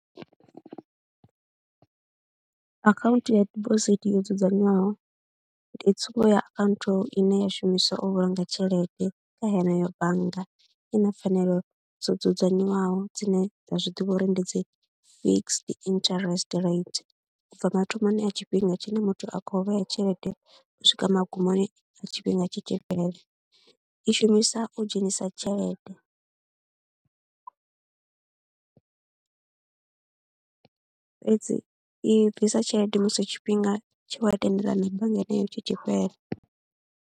Akhaunthu ya dibosithi yo dzudzanywaho ndi tsumbo ya akhaunthu ine ya shumiswa u vhulunga tshelede kha yeneyo bannga, i na pfhanelo dzo dzudzanywaho dzine dza zwi ḓivha uri ndi dzi fixed interest rate, u bva mathomoni a tshifhinga tshine muthu a khou vhea tshelede u swika magumoni a tshifhinga tshi tshi fhelela. I shumisa u dzhenisa tshelede fhedzi i bvisa tshelede musi tshifhinga tshe wa tendelana na bannga yeneyo tshi tshi fhela.